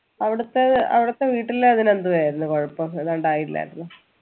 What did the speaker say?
അവിടെത്തെ അവിടത്തെ വീട്ടിലെന്തുവായിരുന്നു കൊഴപ്പം ഇല്ലാരുന്നു